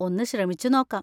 ഒന്ന് ശ്രമിച്ച് നോക്കാം.